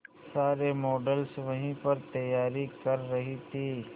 सारे मॉडल्स वहीं पर तैयारी कर रही थी